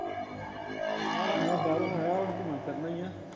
ਆਹੋ ਹੁਣ ਇਹ ਬਾਹਰੋਂ ਆਇਆ ਹੁਣ ਘੁਮਨਾ ਫਿਰਨਾ ਈ ਆ